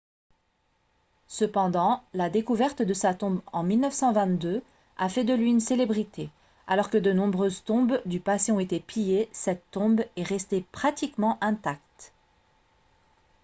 cependant la découverte de sa tombe en 1922 a fait de lui une célébrité alors que de nombreuses tombes du passé ont été pillées cette tombe est restée pratiquement intacte